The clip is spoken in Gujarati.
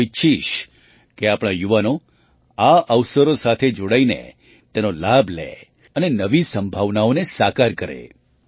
હું ઈચ્છીશ કે આપણા યુવાનો આ અવસરો સાથે જોડાઈને તેનો લાભ લે અને નવી સંભાવનાઓને સાકાર કરે